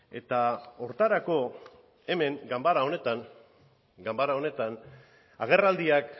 eta horretarako hemen ganbara honetan agerraldiak